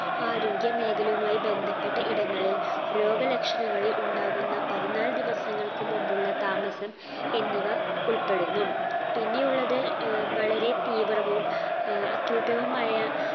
ആരോഗ്യ മേഖലയുമായ് ബന്ധപ്പെട്ട ഇടങ്ങളിൽ രോഗലക്ഷണങ്ങളിൽ ഉണ്ടാകുന്ന പതിനാല് ദിവസങ്ങൾക്ക് മുമ്പുള്ള താമസം എന്നിവ ഉൾപ്പെടുന്നു പിന്നെയുള്ളത് ഏർ വളരെ തീവ്രവും ആഹ് acute വുമായ